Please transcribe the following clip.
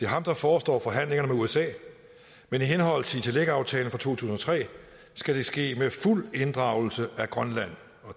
ham der forestår forhandlingerne med usa men i henhold til itilleqaftalen fra to tusind og tre skal det ske med fuld inddragelse af grønland